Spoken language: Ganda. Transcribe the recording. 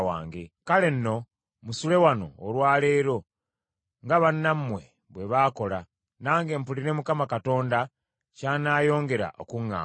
Kale nno musule wano olwa leero, nga bannammwe bwe baakola, nange mpulire Mukama Katonda ky’anaayongera okuŋŋamba.”